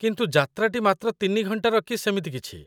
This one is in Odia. କିନ୍ତୁ, ଯାତ୍ରାଟି ମାତ୍ର ତିନି ଘଣ୍ଟାର କି ସେମିତି କିଛି ।